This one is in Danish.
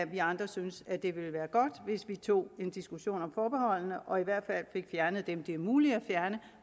vi andre synes at det ville være godt hvis vi tog en diskussion om forbeholdene og i hvert fald fik fjernet dem som det er muligt at fjerne